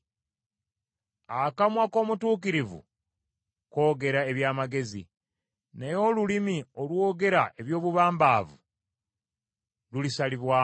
Akamwa k’omutuukirivu koogera eby’amagezi, naye olulimi olwogera eby’obubambavu lulisalibwamu.